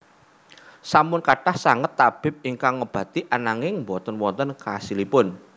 Sampun kathah sanget tabib ingkang ngobati ananging boten wonten khasilipun